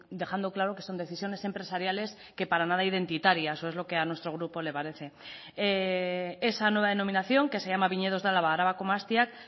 dejando claro que son decisiones empresariales que para nada identitarias o es lo que a nuestro grupo le parece esa nueva denominación que se llama viñedos de álava arabako mahastiak